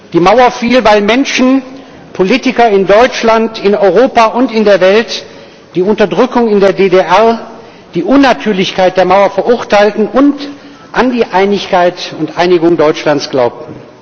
Die Mauer fiel, weil Menschen, Politiker in Deutschland, in Europa und in der Welt die Unterdrückung in der DDR, die Unnatürlichkeit der Mauer verurteilten und an die Einigkeit und Einigung Deutschlands glaubten.